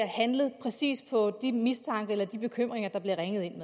handlet præcis på de mistanker eller bekymringer der bliver ringet ind